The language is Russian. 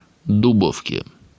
дубовке